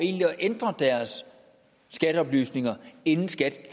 ændre deres skatteoplysninger inden skat